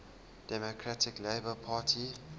democratic labour party